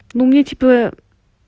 ну мне типа